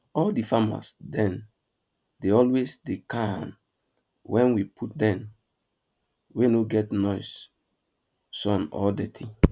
all di animals dem dey always dey calm wen we put dem wey no get noise sun or dirty